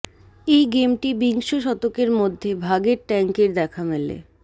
এই গেমটি বিংশ শতকের মধ্য ভাগের ট্যাঙ্কের দেখা মেলে